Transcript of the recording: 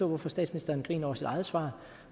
hvorfor statsministeren griner over sit eget svar